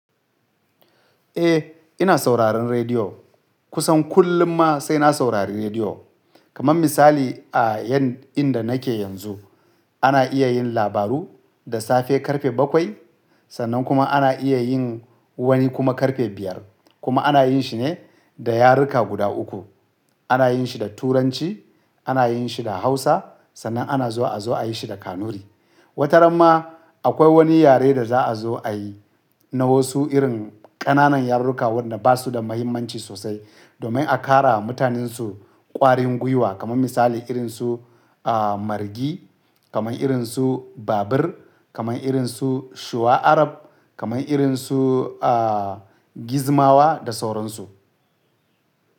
Eh, ina sauraron rediyo. Kusan kullum ma sai na saurari rediyo. Kaman misali a yan inda nake yanzu ana iya yin labaru da safe karfe bakwai sannan kuma ana iya yin wani kuma karfe biyar kuma ana yin shi ne da yaruka guda uku. Ana yin shi da turanci, ana yin shi da Hausa sannan ana zuwa a zo a yi shi da Kanuri. Wataramma akwai wani yare da za a zo a yi na wasu irin ƙananan yaruka waɗanda ba su da mahimmanci sosai domin a ƙara wa mutanensu ƙwarin gwiwa kaman misali irinsu, ah, margi, kaman irinsu babir, kaman irinsu shuwa Arab, kaman irinsu, ah, gizmawa da sauran su.